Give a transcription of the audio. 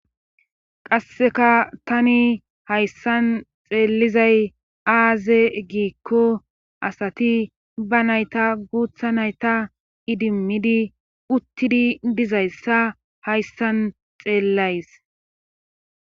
qasseka tani hayssan xeellizay aaze giikko asati ba nayta guutha nayta idimmidi uttidi dizayssa hayssan xeellays